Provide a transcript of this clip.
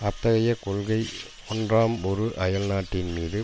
அத்தகைய கொள்கை ஒன்றாம் ஒரு அயல்நாட்டின் மீது